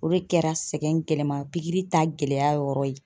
O de kɛra sɛgɛn gɛlɛman pikiri ta gɛlɛya yɔrɔ ye.